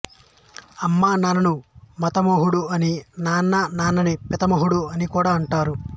అమ్మ నాన్నను మాతామహుడు అని నాన్న నాన్నని పితామహుడు అని కూడా అంటారు